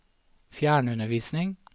fjernundervisning